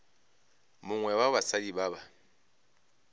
mongwe wa basadi ba ba